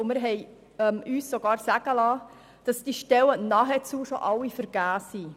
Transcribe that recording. Wir haben uns sogar sagen lassen, es seien bereits nahezu alle Stellen vergeben.